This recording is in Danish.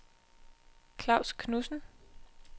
Klaus Knudsen